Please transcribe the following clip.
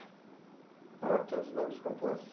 Ah, todos os nomes compostos.